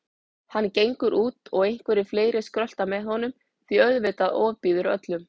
Hann gengur út og einhverjir fleiri skrölta með honum því auðvitað ofbýður öllum.